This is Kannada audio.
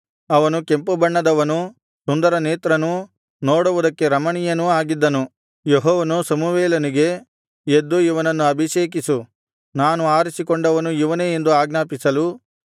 ಅವನು ಕೆಂಪುಬಣ್ಣದವನೂ ಸುಂದರನೇತ್ರನೂ ನೋಡುವುದಕ್ಕೆ ರಮಣೀಯನೂ ಆಗಿದ್ದನು ಯೆಹೋವನು ಸಮುವೇಲನಿಗೆ ಎದ್ದು ಇವನನ್ನು ಅಭಿಷೇಕಿಸು ನಾನು ಆರಿಸಿಕೊಂಡವನು ಇವನೇ ಎಂದು ಆಜ್ಞಾಪಿಸಲು